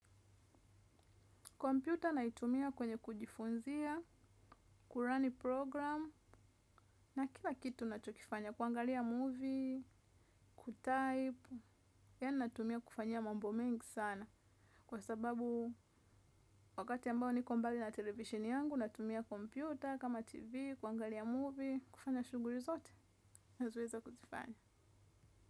Kompyuta naitumia kwenye kujifunzia, kurun program, na kila kitu nachokifanya. Kuangalia movie, kutype, yaani natumia kufanyia mambo mengi sana. Kwa sababu wakati ambao niko. Mbali na televisheni yangu, natumia kompyuta kama TV, kuangalia movie, kufanya shughuli zote, nazoweza kuzifanya.